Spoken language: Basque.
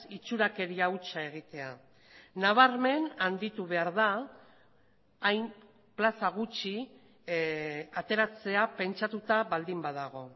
itxurakeria hutsa egitea nabarmen handitu behar da hain plaza gutxi ateratzea pentsatuta baldin badago